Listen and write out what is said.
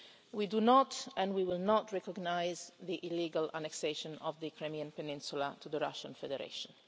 We do not and we will not recognise the illegal annexation of the Crimean Peninsula to the Russian Federation.